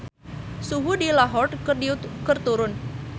Suhu di Lahore keur turun